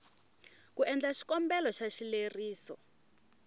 ku endla xikombelo xa xileriso